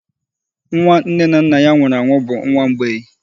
Nwa nne na nna ya nwụrụ bụ nwa mgbei